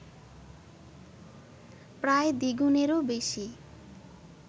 প্রায় দ্বিগুনেরও বেশি